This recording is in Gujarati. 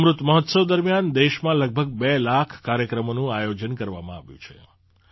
અમૃત મહોત્સવ દરમિયાન દેશમાં લગભગ બે લાખ કાર્યક્રમોનું આયોજન કરવામાં આવ્યું છે